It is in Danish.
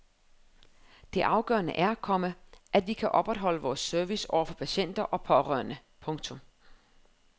Det afgørende er, komma at vi kan opretholde vores service over for patienter og pårørende. punktum